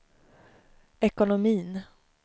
ekonomin